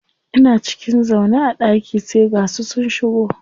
Ina cikin zaune a ɗaki sai ga su sun shigo.